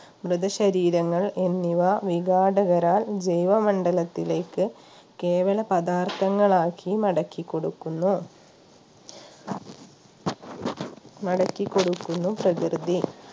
മൃതശരീരങ്ങൾ എന്നിവ വിഘാടകരാൽ ജൈവ മണ്ഡലത്തിലേക്ക് കേവല പദാർത്ഥങ്ങൾ ആക്കി മടക്കി കൊടുക്കുന്നു മടക്കിക്കൊടുക്കുന്നു പ്രകൃതി